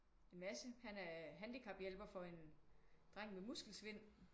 En masse han er handicap hjælper for en dreng med muskelsvind